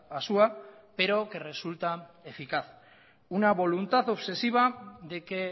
asúa pero que resulta eficaz una voluntad obsesiva de que